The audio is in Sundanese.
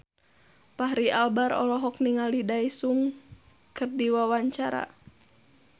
Fachri Albar olohok ningali Daesung keur diwawancara